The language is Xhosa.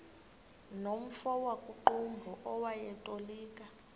nomfo wakuqumbu owayetolika